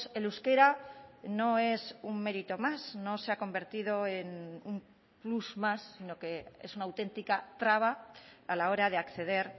el euskera no es un mérito más no se ha convertido en un plus más sino que es una auténtica traba a la hora de acceder